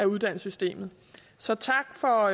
uddannelsessystemet så tak for